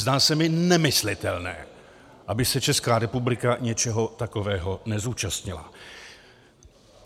Zdá se mi nemyslitelné, aby se Česká republika něčeho takového nezúčastnila.